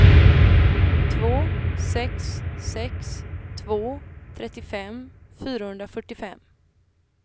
två sex sex två trettiofem fyrahundrafyrtiofem